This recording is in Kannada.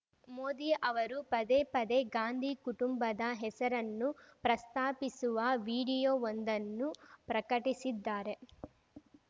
ಮೋದಿ ಅವರು ಪದೇ ಪದೇ ಗಾಂಧಿ ಕುಟುಂಬದ ಹೆಸರನ್ನು ಪ್ರಸ್ತಾಪಿಸುವ ವಿಡಿಯೋವೊಂದನ್ನು ಪ್ರಕಟಿಸಿದ್ದಾರೆ